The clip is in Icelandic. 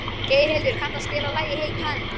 Geirhildur, kanntu að spila lagið „Hey kanína“?